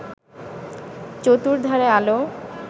চতুর্ধারে আলো